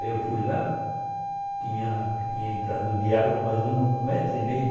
Aí eu fui lá, tinha tinha entrado de água mais ou menos um metro e meio.